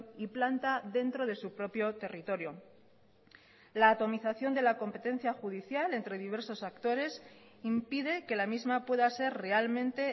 y planta dentro de su propio territorio la atomización de la competencia judicial entre diversos actores impide que la misma pueda ser realmente